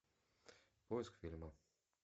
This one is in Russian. поиск фильма